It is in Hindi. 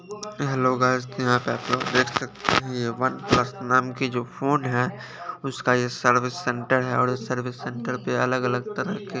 हेलो गाइस यहां पे आप लोग देख सकते हैं ये वनप्लस नाम की जो फोन है उसका ये सडविस सेंटर है और इस सडविस सेंटर पे अलग अलग तरह के--